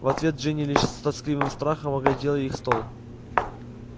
в ответ джинни лишь с тоскливым страхом оглядел их стол